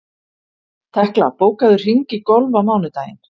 Tekla, bókaðu hring í golf á mánudaginn.